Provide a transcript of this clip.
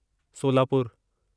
सोलापुरु